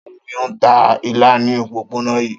Ta ni ó ń ta ilá ní òpópónà yìí?